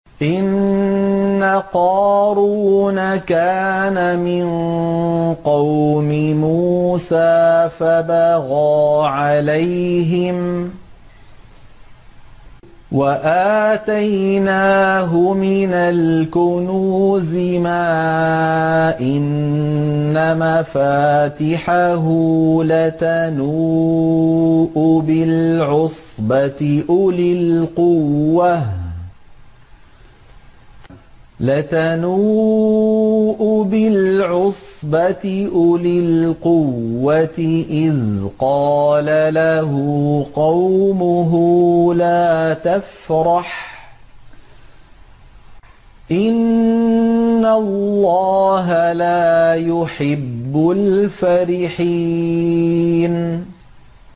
۞ إِنَّ قَارُونَ كَانَ مِن قَوْمِ مُوسَىٰ فَبَغَىٰ عَلَيْهِمْ ۖ وَآتَيْنَاهُ مِنَ الْكُنُوزِ مَا إِنَّ مَفَاتِحَهُ لَتَنُوءُ بِالْعُصْبَةِ أُولِي الْقُوَّةِ إِذْ قَالَ لَهُ قَوْمُهُ لَا تَفْرَحْ ۖ إِنَّ اللَّهَ لَا يُحِبُّ الْفَرِحِينَ